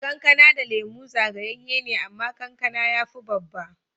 Kankana da Lemu zagayeye ne, amma kankana ya fi babba.